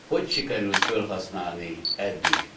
Hogy sikerült fölhasználni eddig?